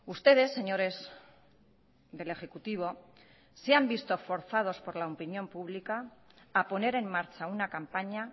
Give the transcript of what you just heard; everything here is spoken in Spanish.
ustedes señores del ejecutivo se han visto forzados por la opinión pública a poner en marcha una campaña